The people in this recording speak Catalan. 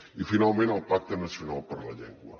i finalment el pacte nacional per la llengua